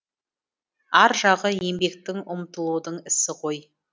ар жағы еңбектің ұмтылудың ісі ғой